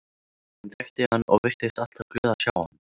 Hún þekkti hann og virtist alltaf glöð að sjá hann.